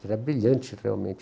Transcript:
Ele era brilhante, realmente.